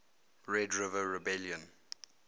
red river rebellion